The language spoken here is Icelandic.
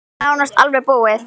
Það er nánast alveg búið.